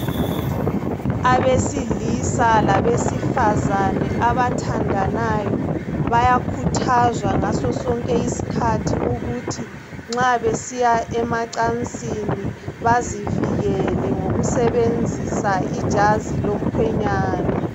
Abesilisa labesifazana abathandanayo bayakhuthazwa ngaso sonke iskhathi ukuthi nxa besiya emacansini bazivikele ngokusebenzisa ijazi lomkhwenyana